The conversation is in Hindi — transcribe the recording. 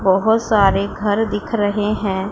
बहोत सारे घर दिख रहे हैं।